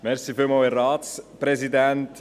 Kommmissionssprecher